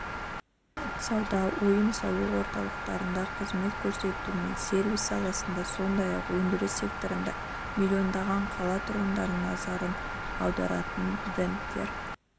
сауда-ойын-сауық орталықтарында қызмет көрсету мен сервис саласында сондай-ақ өндіріс секторында миллиондаған қала тұрғынының назарын аударатын брендтер